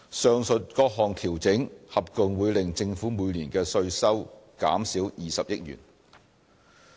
上述各項調整合共會令政府每年的稅收減少20億元。